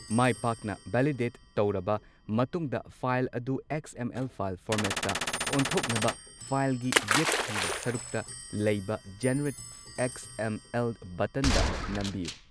ꯃꯥꯏ ꯄꯥꯛꯅ ꯚꯦꯂꯤꯗꯦꯠ ꯇꯧꯔꯕ ꯃꯇꯨꯡꯗ, ꯐꯥꯏꯜ ꯑꯗꯨ ꯑꯦꯛꯁ. ꯑꯦꯝ. ꯑꯦꯜ. ꯐꯥꯏꯜ ꯐꯣꯔꯃꯦꯠꯇ ꯑꯣꯟꯊꯣꯛꯅꯕ ꯐꯥꯏꯜꯒꯤ ꯌꯦꯠ ꯊꯪꯕ ꯁꯔꯨꯛꯇ ꯂꯩꯕ 'ꯖꯦꯅꯔꯦꯠ ꯑꯦꯛꯁ. ꯑꯦꯝ. ꯑꯦꯜ.' ꯕꯠꯇꯟꯗ ꯅꯝꯕꯤꯌꯨ꯫